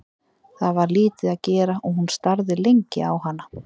Það var lítið að gera og hún starði lengi á hana.